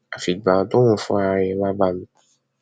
àfìgbà tóun fúnra ẹ wàá bá mi